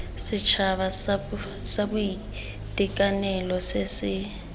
setšhaba sa boitekanelo se se